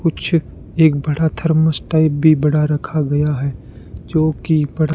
कुछ एक बड़ा थरमस टाइप भी बड़ा रखा गया है जोकि बड़ा--